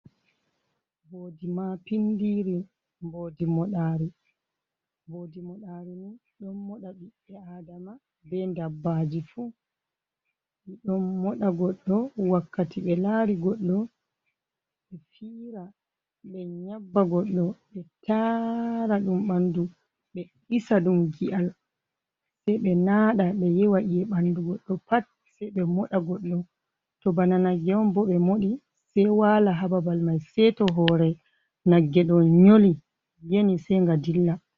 Mboodi mapindiri mboodi moɗaari .Mboodi moɗaari ɗon moɗa ɓiɓɓe adama be dabbaji fu. Ɗon moɗa goɗɗo wakkati ɓe laari goɗɗo, be fiira ɓe nyabba goɗɗo ɓe taara, ɗum ɓanndu ɓe ɗisa ɗum gi'al ,sey ɓe naaɗa ɓe yewa iye ɓanndu goɗɗo pat ,sey ɓe moɗa goɗɗo. To bana nagge on bo, to ɓe moɗi sey waala haa babal may seyto hoore nagge ɗo ,nyoli yeni sey nga dilla.